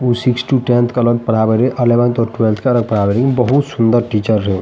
उ six to tenth के अलग पडावे ली एलेवेन और ट्वेल्फ्थ के अलग पढ़ावे ली बहुत सुंदर टीचर रहु।